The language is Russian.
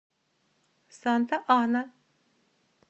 санта ана